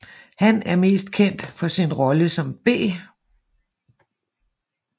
Han er mest kendt for sin rolle som B